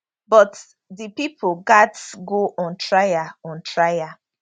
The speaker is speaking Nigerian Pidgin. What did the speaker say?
but di pipo gatz go on trial on trial